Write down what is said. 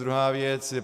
Druhá věc.